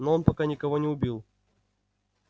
но он пока никого не убил